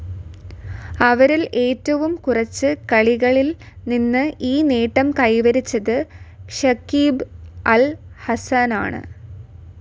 അവരിൽ ഏറ്റവും കുറച്ച് കളികളിൽ നിന്ന് ഈ നേട്ടം കൈവരിച്ചത് ഷക്കീബ് അൽ ഹസനാണ്.